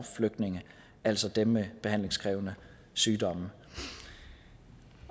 flygtninge altså dem med behandlingskrævende sygdomme